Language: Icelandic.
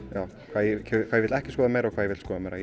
hvað ég vil ekki skoða meira og hvað ég vil skoða meira